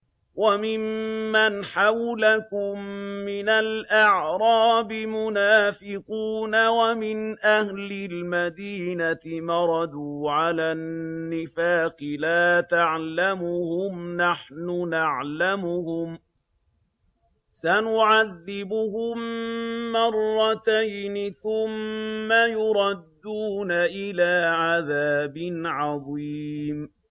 وَمِمَّنْ حَوْلَكُم مِّنَ الْأَعْرَابِ مُنَافِقُونَ ۖ وَمِنْ أَهْلِ الْمَدِينَةِ ۖ مَرَدُوا عَلَى النِّفَاقِ لَا تَعْلَمُهُمْ ۖ نَحْنُ نَعْلَمُهُمْ ۚ سَنُعَذِّبُهُم مَّرَّتَيْنِ ثُمَّ يُرَدُّونَ إِلَىٰ عَذَابٍ عَظِيمٍ